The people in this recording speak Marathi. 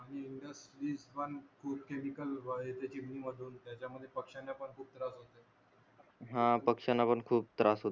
हा पक्षांना पण खूप त्रास होत